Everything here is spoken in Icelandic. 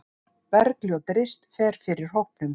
Bergljót Rist fer fyrir hópnum.